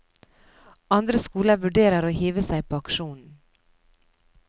Andre skoler vurderer å hive seg på aksjonen.